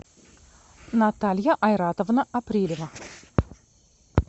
наталья айратовна апрелева